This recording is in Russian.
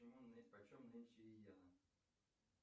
почем нынче йена